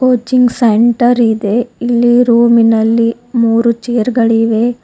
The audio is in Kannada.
ಕೋಚಿಂಗ್ ಸೆಂಟರ್ ಇದೆ ಇಲ್ಲಿ ರೂಮ್ ಇನಲ್ಲಿ ಮೂರು ಚೇರ್ ಗಳಿವೆ.